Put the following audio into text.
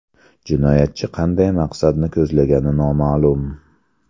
Jinoyatchi qanday maqsadni ko‘zlagani noma’lum.